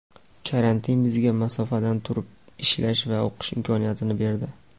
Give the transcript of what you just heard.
Karantin bizga masofadan turib ishlash va o‘qish imkoniyatini berdi.